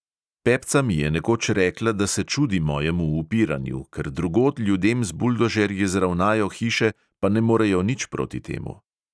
Pepca mi je nekoč rekla, da se čudi mojemu upiranju, ker drugod ljudem z buldožerji zravnajo hiše, pa ne morejo nič proti temu.